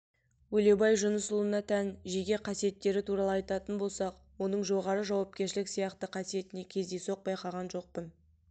өлеубай жүнісұлына тән жеке қасиеттері туралы айтатын болсақ оның жоғары жауапкершілік сияқты қасиетін кездейсоқ байқаған жоқпын